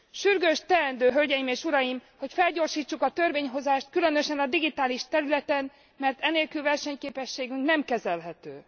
Sürgős teendő, Hölgyeim és Uraim, hogy felgyorsítsuk a törvényhozást, különösen a digitális területen, mert e nélkül versenyképességünk nem kezelhető.